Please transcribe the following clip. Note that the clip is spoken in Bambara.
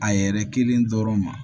A yɛrɛ kelen dɔrɔn ma